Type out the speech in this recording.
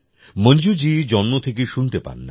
মঞ্জুজি জন্ম থেকেই শুনতে পান না